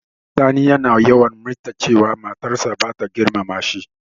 Sani yana yawan mitar cewa matar sa bata girmama shi.